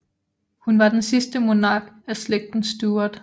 Hun var den sidste monark af Slægten Stuart